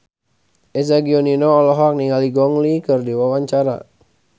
Eza Gionino olohok ningali Gong Li keur diwawancara